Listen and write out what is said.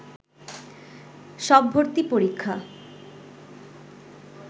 সব ভর্তি পরীক্ষা